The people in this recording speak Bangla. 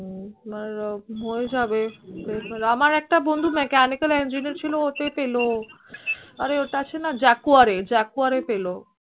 হম হয়ে যাবে আমার একটা বন্ধু mechanical engineer ছিল ও এতে পেলে আর এ ওই আছে না Jaguar Jaguar এ পেল